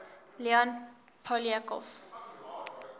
leon poliakov